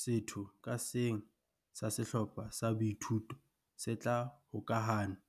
Setho ka seng sa sehlopha sa boithuto se tla hokahanngwa